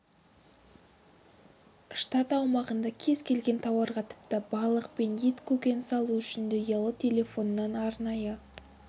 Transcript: штат аумағында кез келген тауарға тіпті балық пен ет көкөніс алу үшін де ұялы телефоннан арнайы